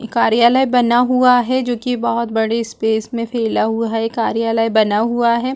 कार्यालय बना हुआ है जो की बहोत बड़े स्पेस में फैला हुआ है कार्याला बना हुआ है।